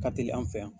Ka teli an fɛ yan